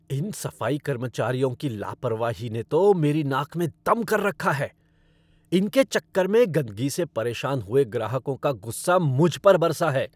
इन सफाई कर्मचारियों की लापरवाही ने तो मेरी नाक में दम कर रखा है, इनके चक्कर में गंदगी से परेशान हुए ग्राहकों का गुस्से मुझ पर बरसा है।